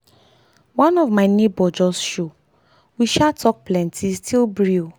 one of my neighbour just show we sha talk plenty still brew.